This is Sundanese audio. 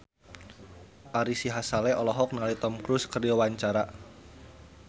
Ari Sihasale olohok ningali Tom Cruise keur diwawancara